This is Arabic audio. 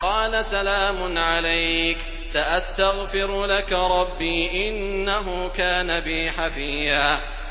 قَالَ سَلَامٌ عَلَيْكَ ۖ سَأَسْتَغْفِرُ لَكَ رَبِّي ۖ إِنَّهُ كَانَ بِي حَفِيًّا